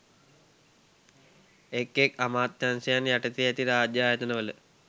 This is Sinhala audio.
එක් එක් අමාත්‍යංශයන් යටතේ ඇති රාජ්‍ය ආයතන වල